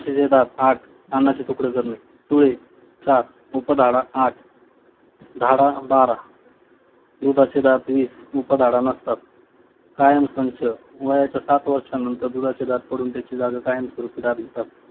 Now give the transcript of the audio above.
अन्नाचे तुकडे करणे सुळे चार, उपदाळा दाडा आठ, दाडा बारा दुधाचे दात वीस, उपदाडा नसतात. कायमसंच वयाच्या वर्षांनंतर दुधाचे दात पडून त्याची जागा स्वरूपी दात घेतात